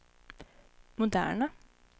moderna